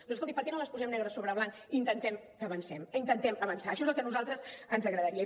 doncs escolti per què no les posem negre sobre blanc i intentem que avancem intentem avançar això és el que a nosaltres ens agradaria